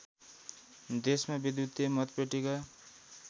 देशमा विद्युतीय मतपेटिका